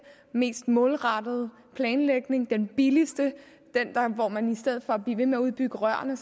mest målrettede planlægning den billigste den hvor man i stedet for at blive ved med at udbygge rørene